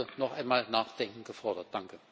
Es ist also noch einmal Nachdenken gefordert.